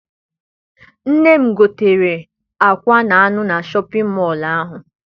Nne m gotere akwa na anụ na Shọpịn mọọ ahụ.